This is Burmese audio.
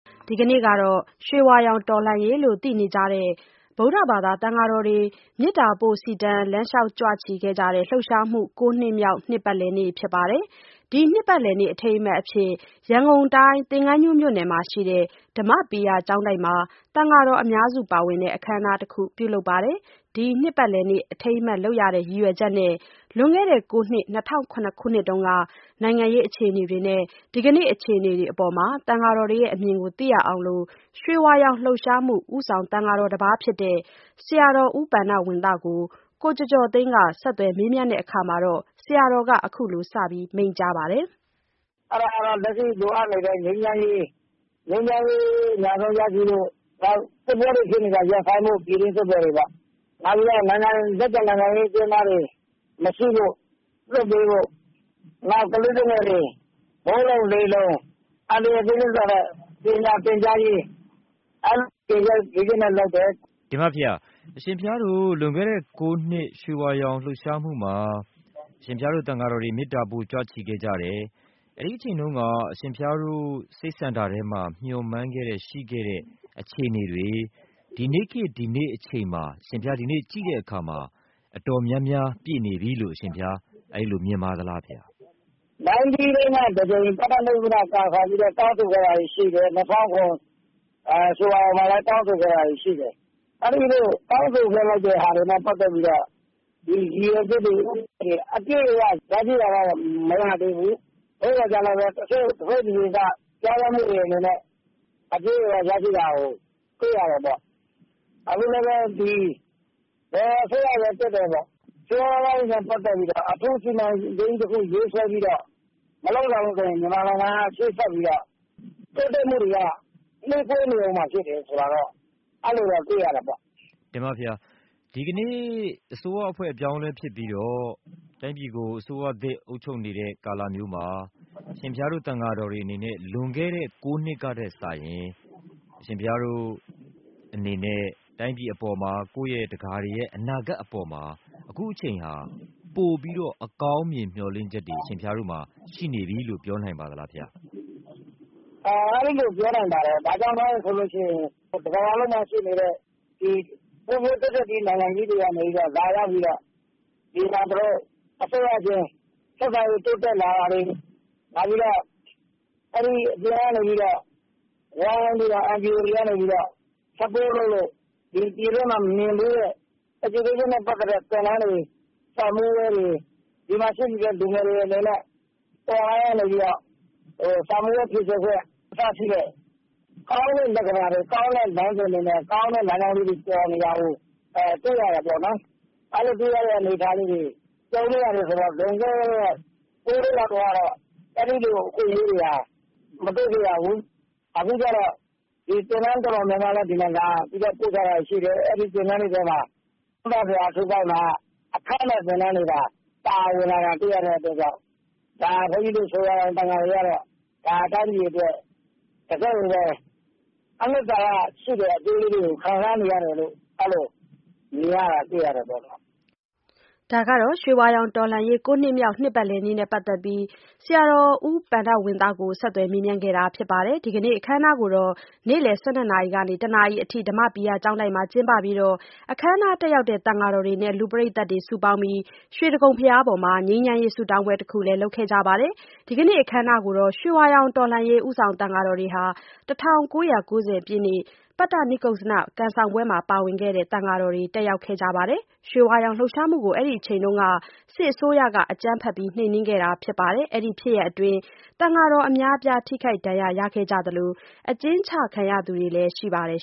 ဒီကနေ့ဟာ ရွှေဝါရောင်တော်လှန်ရေးလို့ သိနေကြပြီဖြစ်တဲ့ ဗုဒ္ဓဘာသာသံဃာတော်တွေ မေတ္တာပို့ စီတန်း လမ်းလျှောက်ကြွချီကြတဲ့ လှုပ်ရှားမှု ၉ နှစ်မြောက် နှစ်ပတ်လည်နေ့ဖြစ်ပါတယ်။ ဒီနှစ်ပတ်လည်နေ့ အထိမ်းအမှတ်အဖြစ် ရန်ကုန် တိုင်း၊ သင်္ဃန်းကျွန်းမြို့နယ်မှာရှိတဲ့ ဓမ္မပီယကျောင်းတိုက်မှာ သံဃာတော်အများစုပါဝင်တဲ့ အခမ်းအနားတခု ပြုလုပ်ပါတယ်။ ဒီ နှစ်ပတ်လည်နေ့ အထိမ်းအမှတ်လုပ်တဲ့ ရည်ရွယ်ချက်နဲ့ လွန်ခဲ့တဲ့ကိုးနှစ် ၂၀၀၇ ခုနှစ်က နိုင်ငံအခြေအနေတွေနဲ့ ဒီကနေ့ အခြေအနေတွေအပေါ် သံဃာတော်တွေရဲ့အမြင်ကိုသိရအောင် ရွှေဝါရောင်လှုပ်ရှားမှု ဦးဆောင်သံဃာတော်တပါးဖြစ်တဲ့ ဆရာ တော် ဦးပဏ္ဍဝံသကို ကိုကျော်ကျော်သိန်းက ဆက်သွယ် မေးမြန်းတဲ့အခါ ဆရာတော်က အခုလို စမိန့်ပါတယ်။ “လက်ရှိလိုအပ်နေတဲ့ ငြိမ်းချိမ်းရေး အမြန်ဆုံးရရှိဖို့၊ နောက်စစ်ပွဲတွေ ဖြစ်နေတာရပ်ဆိုင်းဖို့ ပြည်တွင်းစစ်ပွဲတွေပေါ့။ နောက်ပြီးတော့ လက်ကျန်နိုင်ငံရေးအကျဉ်းသားတွေမရှိဖို့၊ လွှတ်ပေးဖို့၊ နောက် ကလေးသူငယ်တွေ မိုးလုံလေလုံ အန္တရာယ်ကင်းစွာနဲ့ ပညာသင်ကြားရေး အဲဒီ ရည်ရွယ်ချက်တွေနဲ့ လုပ်တယ်။" တင်ပါ့ဘုရား။ အရှင်ဘုရားတို့ လွန်ခဲ့တဲ့ ၉ နှစ်က ရွှေဝါရောင်လှုပ်ရှားမှုမှာ သံဃာတော်တွေ မေတ္တာပို့ ကြွချီခဲ့ကြတယ်။ အဲဒီအချိန်တုန်းက အရှင်ဘုရားတို့ စိတ်ဆန္ဒထဲမှာ မျှော်မှန်းခဲ့တဲ့ ရှိခဲ့တဲ့အခြေအနေတွေ ဒီနေ့ခေတ် ဒီနေ့အချိန်မှာ အရှင်ဘုရား ဒီနေ့ကြည့်တဲ့အခါမှာ အတော်များများပြည့်နေပြီလို့ အရှင်ဘုရား အဲဒီလိုမြင်ပါသလားဘုရား။ ၉၀ တုန်းကတကြိမ် ပတ္တနိက္ကုဇ္ဖန ကံဆောင်ပြီးတော့ တောင်းဆိုခဲ့တာတွေရှိတယ်၊ ၂၀၀၇ ရွှေဝါရောင်မှာ လည်း တောင်းဆိုခဲ့တာတွေရှိတယ်။ အဲဒီလိုတောင်းဆိုခဲ့တာတွေနဲ့ ပတ်သက်ပြီးတော့ ဒီရည်ရွယ်ချက်တွေ ဦးတည်ချက်တွေ အပြည့်အ၀ ရရှိတာကတော့ မရသေးဘူး။ သို့သော်လည်း တချို့ တစိတ်တဒေသ ပြောင်းလဲမှုအနေနဲ့ အပြည့်အ၀ ရရှိတာကိုတွေ့ရတယ်ပေါ့။ ဒါပေမယ့်လည်း ဘယ်အစိုးရပဲ တက်တက်ပေါ့ ဆင်းရဲသားတွေနဲ့ ပတ်သက်ပြီးတော့ အထူးစီမံကိန်းကြီးတခု ရေးဆွဲပြီးတော့ မလုပ်နိုင်ဘူး ဆိုရင် မြန်မာနိုင်ငံကတော့ ရှေ့ဆက်ပြီးတော့ တိုးတက်မှုတွေက နှေးကွေးနေဦးမှာပဲဆိုတာတော့ တွေ့ရတယ်ပေါ့။" တင်ပါ့ဘုရား။ ဒီကနေ့အစိုးရအဖွဲ့အပြောင်းလဲဖြစ်ပြီးတော့ တိုင်းပြည်ကို အစိုးရသစ်အုပ်ချုပ်နေတဲ့ ကာလမျိုးမှာ အရှင်ဘုရားတို့ သံဃာတော်တွေတွေအနေနဲ့ လွန်ခဲ့တဲ့ ၉ နှစ်ကထက်စာရင် အရှင်ဘုရားတို့အနေနဲ့ တိုင်းပြည်အပေါ်မှာ ကိုယ့်ရဲ့ ဒကာ တွေ ရဲ့အနာဂတ်အပေါ်မှာ အခုအချိန်ဟာ ပိုပြီးတော့ အကောင်းမြင်မျှော်လင့်ချက်တွေအရှင်ဘုရားတို့မှာရှိနေပြီလို့ ပြောနိုင်ပါသလားဘုရား။ "အဲဒီလိုပြောနိုင်ပါတယ်။ ဘာကြောင့်လဲဆိုလို့ရှိရင် ကမ္ဘာပေါ်မှာရှိနေတဲ့ ဖွံ့ဖြိုးတိုးတက်ပြီး နိုင်ငံကြီးတွေကနေလာရောက်ပြီးတော့ ဒီမှာ အစိုးရအတွင်း ဆက်ဆံရေးတိုးတက်လာတာတွေ၊ အပြင်ကနေပြီးတော့ NGO တွေကနေပြီးတော့ ဝိုင်းဝန်းပြီး Support လုပ်လို့ ပြည်တွင်းမှာ မမြင်ဖူးတဲ့ Education နဲ့ ပတ်သက်တဲ့ သင်တန်းတွေ၊ စာမေးပွဲတွေ၊ ဒီမှာရှိနေတဲ့ လူငယ်တွေအလိုက် online ကနေပြီးတော့ စာမေးပွဲဖြေဆိုခွင့် အစရှိတဲ့ ကောင်းတဲ့ လက္ခဏာတွေ ကောင်းတဲ့လမ်းစဉ်တွေနဲ့ ကောင်းတဲ့ လမ်းကြောင်းလေးတွေပေါ်နေတာကို တွေ့ရတာပေါ့နော်။ လွန်ခဲ့တဲ့ ၉ နှစ်တုန်းကတော့ အဲဒီလိုအခွင့်အရေးတွေဟာ မတွေ့ခဲ့ရဘူး။ အခုကျတော့ သင်တန်းတော်တော်များများလည်း ဒီနိုင်ငံကို လာပြီးပို့ချတာတွေရှိ တယ်။ အဲဒီသင်တန်းတွေမှာက ဝမ်းသာစရာတွေက အခမဲ့သင်တန်းတွေ ပါလာတာတွေ့ရတော့ ဒါ ဘုန်းကြီးတို့ ရွှေဝါရောင်သံဃာတော်တွေ ကတော့ တိုင်းပြည်အတွက် တကယ့်ကိုပဲ အနစ်သာရရှိတဲ့ အကျိုးကျေးဇူးတွေကို ခံစားနေရတယ်လို့ အဲလိုမြင်ပါတယ်။” ရွှေဝါရောင်တော်လှန်ရေး ၉ နှစ်မြောက် နှစ်ပတ်လည်နေ့နဲ့ပတ်သက်ပြီး ဦးပဏ္ဍဝံသကို ဆက်သွယ်မေးမြန်းခဲ့တာ ပါ။ ဒီကနေ့ အခမ်းအနားကို နေ့လည် ၁၂ နာရီကနေ ၁ နာရီအထိ ဓမ္မပီယကျောင်းတိုက်မှာ ကျင်းပပြီးတဲ့နောက် အခမ်းအနား တက်ရောက်တဲ့ သံဃာတော်တွေနဲ့ လူပရိသတ်တွေစုပေါင်းပြီး ရွှေတိဂုံဘုရားပေါ်မှာ ငြိမ်းချမ်းရေး ဆုတောင်းပွဲတခုကိုလည်း လုပ်ခဲ့ကြပါတယ်။ ဒီကနေ့အခမ်းအနားကို ရွှေဝါရောင်တော်လှန်ရေး ဦးဆောင်သံဃာတော်တွေ၊ ၁၉၉၀ ပြည့်နှစ် ပတ္တနိက္ကုဇ္ဇန ကံဆောင်ပွဲမှာ ပါဝင်ခဲ့တဲ့ သံဃာတော်တွေ တက်ရောက်ကြပါတယ်။ ရွှေဝါရောင်လှုပ်ရှားမှုကို အဲဒီအချိန် စစ်အစိုးရက အကြမ်းဖက်နှိမ်နင်းခဲ့တာပါ။ အဲဒီဖြစ်ရပ်အတွင်။ သံဃာတော်အများအပြား ထိခိုက် ဒဏ်ရာရခဲ့ကြသလို အကျဉ်းချခံခဲ့ကြရသူတွေလည်း ရှိပါတယ်